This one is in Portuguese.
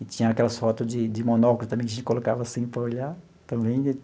E tinha aquelas fotos de de monóculos também, que a gente colocava assim para olhar também.